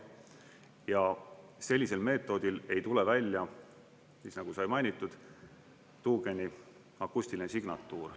Ja sellisel meetodil ei tule välja, nagu sai mainitud, tuugeni akustiline signatuur.